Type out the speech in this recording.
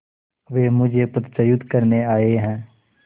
वे मुझे पदच्युत करने आये हैं